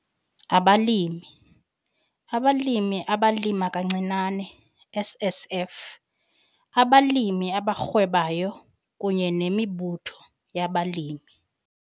Abalimi, Abalimi abalima kancinane SSF, abalimi abarhwebayo kunye nemibutho yabalimi.